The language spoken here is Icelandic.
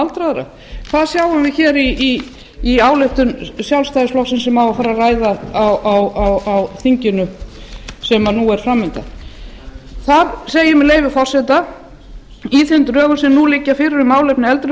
aldraðra það sjáum við í ályktun sjálfstæðisflokksins sem á að fara að ræða á þinginu sem fram undan er þar segir í þeim drögum sem nú liggja fyrir um málefni eldri